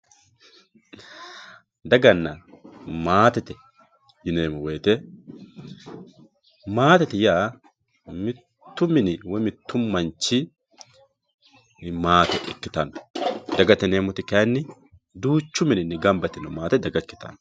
daganna maatete yineemo woyiite maatete yaa mittu mini woye mittu manchi maate ikkitanno dagate yineemoti kayiini duuchu mininni gamba yitino maate daga ikkitanno.